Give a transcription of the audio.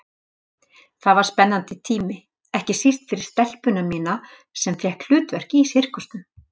Það var spennandi tími, ekki síst fyrir stelpuna mína sem fékk hlutverk í sirkusnum.